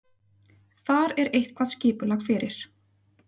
Þar er eitthvað skipulag fyrir.